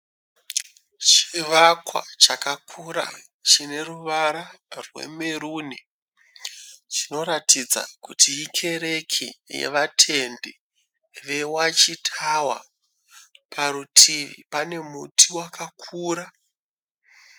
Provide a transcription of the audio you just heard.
Chivakwa chakakura chine ruvara rwemeruni chinoratidza kuti ikereke yevatendi yeWatch Tower. Parutivi pane muti wakakura.